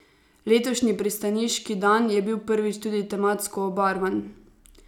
Letošnji Pristaniški dan je bil prvič tudi tematsko obarvan.